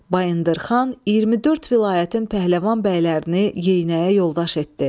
Bayındır xan 24 vilayətin pəhləvan bəylərini yeyinəyə yoldaş etdi.